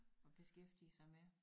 Og beskæftige sig med